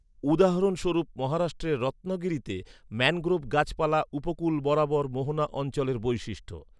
উদাহরণস্বরূপ, মহারাষ্ট্রের রত্নাগিরিতে ম্যানগ্রোভ গাছপালা উপকূল বরাবর মোহনা অঞ্চলের বৈশিষ্ট্য।